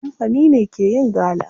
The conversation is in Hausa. Kamfani ne ke yin gala.